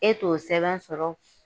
E t'o sɛbɛn sɔrɔ